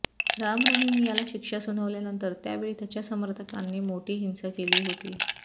राम रहीम याला शिक्षा सुनावल्यानंतर त्यावेळी त्याच्या समर्थकांनी मोठी हिंसा केली होती